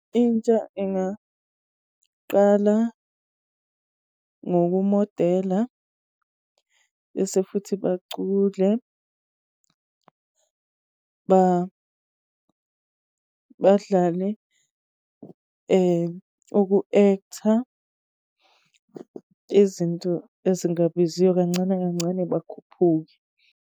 Intsha ingaqala ngokumodela, bese futhi bacule, badlale uku-act-a. Izinto ezingabiziyo, kancane kancane bakhuphuke.